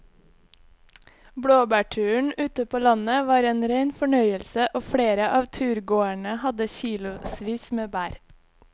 Blåbærturen ute på landet var en rein fornøyelse og flere av turgåerene hadde kilosvis med bær.